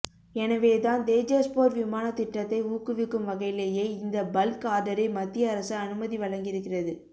எனவேதான் தேஜஸ் போர் விமானத் திட்டத்தை ஊக்குவிக்கும் வகையிலேயே இந்த பல்க் ஆர்டரை மத்திய அரசு அனுமதி வழங்கியிருக்கிறது